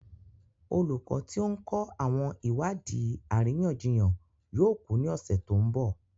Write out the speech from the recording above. Olùkọ́ tí ó ń kọ́ àwọn ìwádìí àríyànjiyàn yóò kú ní ọ̀sẹ̀ tó ń bọ̀.